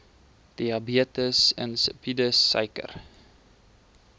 diabetes insipidus suiker